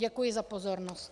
Děkuji za pozornost.